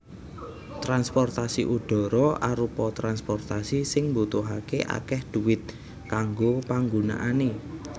Transportasi udhara arupa transportasi sing mbutuhaké akèh dhuwit kanggo panggunaané